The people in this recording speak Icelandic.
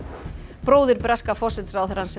bróðir breska forsætisráðherrans sem er